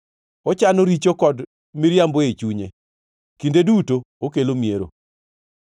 ochano richo kod miriambo ei chunye, kinde duto okelo miero.